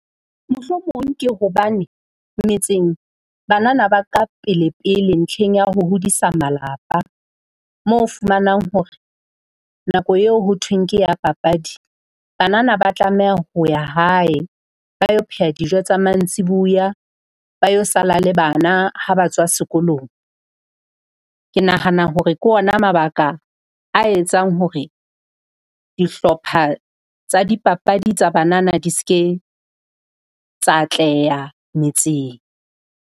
Mohlomong ke hobane metseng banana ba ka pele pele ntlheng ya ho hodisa malapa. Mo o fumanang hore nako eo ho thweng ke ya papadi banana ba tlameha ho ya hae, ba yo pheha dijo tsa mantsibuya. ba yo sala le bana ha ba tswa sekolong. Ke nahana hore ke ona mabaka a etsang hore dihlopha tsa dipapadi tsa banana di ske tsa atleha metseng.